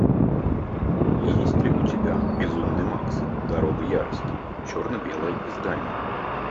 есть ли у тебя безумный макс дорога ярости черно белое издание